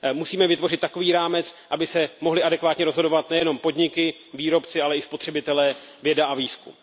Musíme vytvořit takový rámec, aby se mohly adekvátně rozhodovat nejenom podniky, výrobci, ale i spotřebitelé, věda a výzkum.